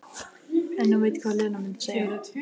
En hún veit hvað Lena mundi segja.